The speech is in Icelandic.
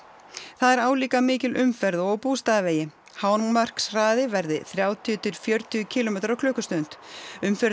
það er álíka mikil umferð og á Bústaðavegi hámarkshraði verði þrjátíu til fjörutíu kílómetrar á klukkustund umferðin